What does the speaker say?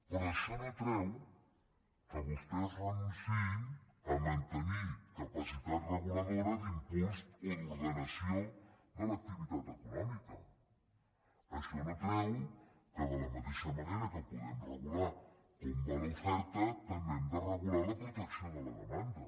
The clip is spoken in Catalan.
però això no treu que vostès renunciïn a mantenir capacitat reguladora d’impuls o d’ordenació de l’activitat econòmica això no treu que de la mateixa manera que podem regular com va l’oferta també hem de regular la protecció de la demanda